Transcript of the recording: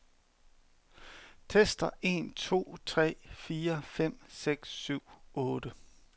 Tester en to tre fire fem seks syv otte.